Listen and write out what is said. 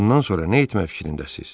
Bundan sonra nə etmək fikrindəsiz?